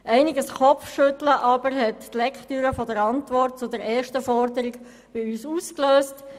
Einiges Kopfschütteln hat jedoch die Lektüre der Antwort zur ersten Forderung bei uns ausgelöst.